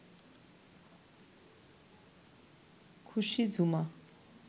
খুশি ঝুমা